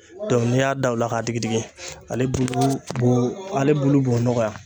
Dɔn n'i y'a da o la k'a digi digi ale bulu b'o ale bulu b'o nɔgɔya